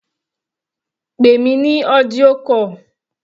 Pè mí ní audio call.